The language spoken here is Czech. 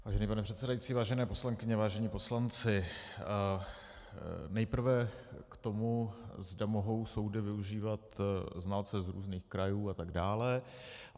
Vážený pane předsedající, vážené poslankyně, vážení poslanci, nejprve k tomu, zda mohou soudy využívat soudce z různých krajů atd.